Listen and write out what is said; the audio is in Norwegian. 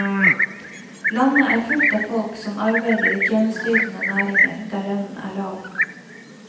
Landet er fullt av folk som arbeider i tjenesteytende næringer der lønnen er lav.